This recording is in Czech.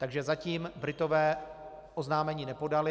Takže zatím Britové oznámení nepodali.